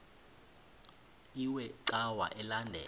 iwe cawa elandela